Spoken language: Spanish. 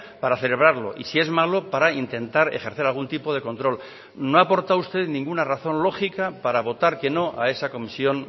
para celebrarlo y si es malo para intentar ejercer algún tipo de control no ha aportado usted ninguna razón lógica para votar que no a esa comisión